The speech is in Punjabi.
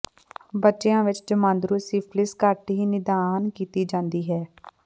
ਬੱਚਿਆਂ ਵਿੱਚ ਜਮਾਂਦਰੂ ਸਿਫਿਲਿਸ ਘੱਟ ਹੀ ਨਿਦਾਨ ਕੀਤੀ ਜਾਂਦੀ ਹੈ